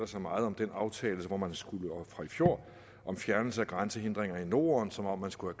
så meget om den aftale fra i fjor om fjernelse af grænsehindringer i norden som om man skulle